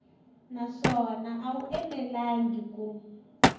naswona a wu enelangi ku